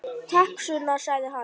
Takk, Sunna, sagði hann.